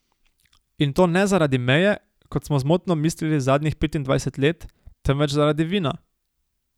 In to ne zaradi meje, kot smo zmotno mislili zadnjih petindvajset let, temveč zaradi vina.